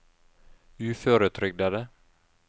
uføretrygdede